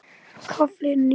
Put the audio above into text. KAFLI NÍU